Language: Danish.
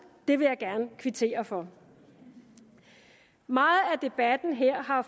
det vil jeg gerne kvittere for meget af debatten her har